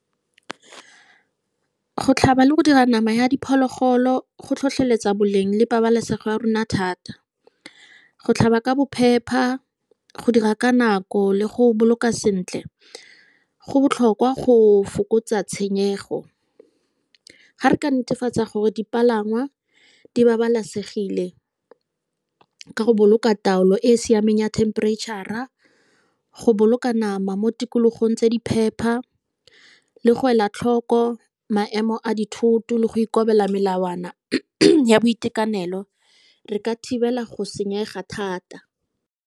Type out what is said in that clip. Go tlhaba le go dira nama ya diphologolo go tlhotlheletsa boleng le pabalesego ya rona thata. Go tlhaba ka bophepha, go dira ka nako, le go boloka sentle. Go botlhokwa go fokotsa tshenyego. Gare ka netefatsa gore dipalangwa di babalesegile, ka go boloka taolo e e siameng ya temperature-a, go boloka nama mo tikologong tse di phepa, le go ela tlhoko maemo a dithoto, le go ikobela melawana ya boitekanelo, re ka thibela go senyega thata.